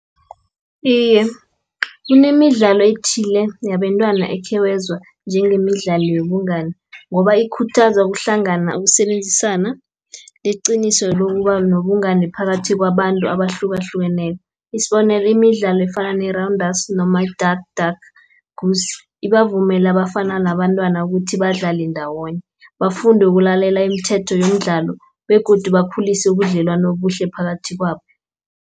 Iye, kunemidlalo ethile yabentwana okhewezwa njengemidlalo yobungani, ngoba ikhuthaza ukuhlangana, ukusebenzisana leqiniso lokuba nobungani phakathi kwabantu abahlukahlukeneko. Isibonelo imidlalo efana nerawundasi noma i-duck, duck goose. Ibavumela abafana nabantwana ukuthi badlale ndawonye. Bafunde ukulalela imithetho yomdlalo, begodu bakhulise ubudlelwani obuhle phakathi kwabo.